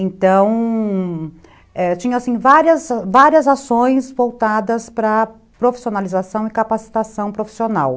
Então... tinha assim, várias ações voltadas para profissionalização e capacitação profissional.